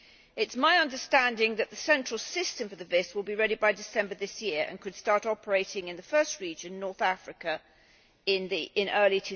It is my understanding that the central system for the VIS will be ready by December this year and could start operating in the first region, North Africa, in early